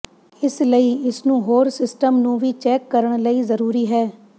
ਇਸ ਲਈ ਇਸ ਨੂੰ ਹੋਰ ਸਿਸਟਮ ਨੂੰ ਵੀ ਚੈੱਕ ਕਰਨ ਲਈ ਜ਼ਰੂਰੀ ਹੈ